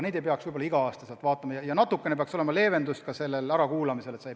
Neid inimesi ei peaks igal aastal vaatamas käima ja natukene peaks leevendama ka seda ärakuulamise nõuet.